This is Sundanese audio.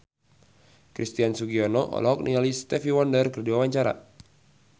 Christian Sugiono olohok ningali Stevie Wonder keur diwawancara